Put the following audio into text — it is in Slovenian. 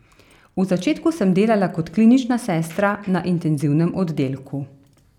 V začetku sem delala kot klinična sestra na intenzivnem oddelku.